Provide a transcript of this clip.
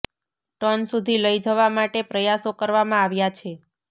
ton સુધી લઈ જવા માટે પ્રયાસો કરવામાં આવ્યા છે